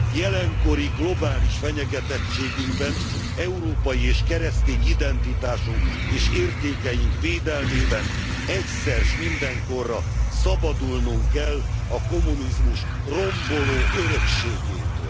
Jelenkori globális fenyegetettségünkben, európai és keresztény identitásunk és értékeink védelmében egyszer s mindenkorra szabadulnunk kell a kommunizmus romboló örökségétől.